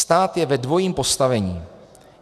Stát je ve dvojím postavení.